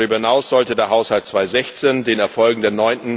Darüber hinaus sollte der Haushalt 2016 den Erfolgen der